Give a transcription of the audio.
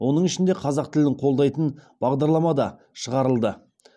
оның ішінде қазақ тілін қолдайтын бағдарламада шығарылды